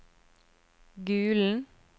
Gulen